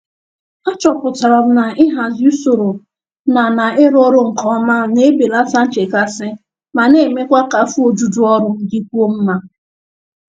Achọpụtara m na ịhazi usoro na na ịrụ ọrụ nke ọma na-ebelata nchekasị ma na-emekwa ka afọ ojuju ọrụ dịkwuo mma.